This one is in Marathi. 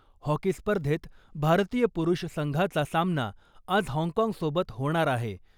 हॉकी स्पर्धेत भारतीय पुरुष संघाचा सामना आज हाँगकाँग सोबत होणार आहे.